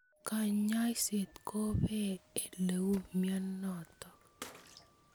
Kanyoiset kobee oleu mnyenotok.